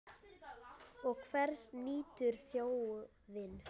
Og hvers nýtur þjóðin?